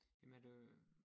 Jamen er det